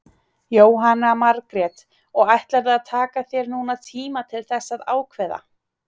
Jóhanna Margrét: Og ætlarðu að taka þér núna tíma til þess að ákveða?